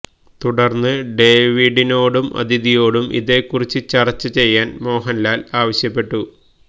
തുടര്ന്ന് ഡേവിഡിനോടും അതിഥിയോടും ഇതേ കുറിച്ച് ചര്ച്ച ചെയ്യാന് മോഹന്ലാല് ആവശ്യപ്പെട്ടു